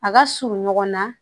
A ka surun ɲɔgɔn na